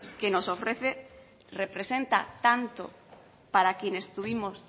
que nos ofrece representa tanto para quienes tuvimos